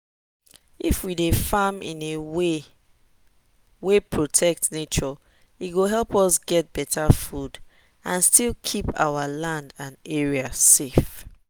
if we dey farm in way wey protect nature e go help us get better food and still keep our land and area safe.